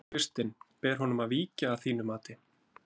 Kristinn: Ber honum að víkja að þínu mati?